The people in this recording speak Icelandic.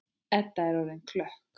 Edda er orðin klökk.